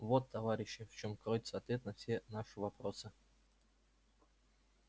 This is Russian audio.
вот товарищи в чём кроется ответ на все наши вопросы